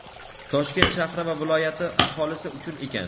Toshkent shahri va viloyati aholisi uchun ekan.